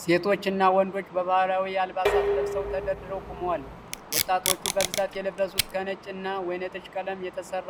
ሴቶች እና ወንዶች ባህላዊ አልባሳትን ለብሰው ተደርድረው ቆመዋል። ወጣቶቹ በብዛት የለበሱት ከነጭ እና ወይነጠጅ ቀለም የተሰራ